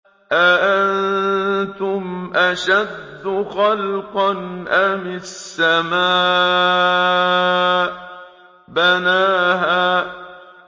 أَأَنتُمْ أَشَدُّ خَلْقًا أَمِ السَّمَاءُ ۚ بَنَاهَا